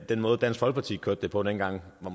den måde dansk folkeparti kørte det på dengang var